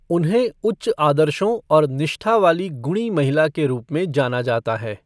उन्हें उच्च आदर्शों और निष्ठा वाली गुणी महिला के रूप में जाना जाता है।